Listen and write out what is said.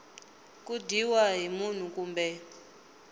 ku dyiwa hi munhu kumbe